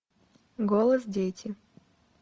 голос дети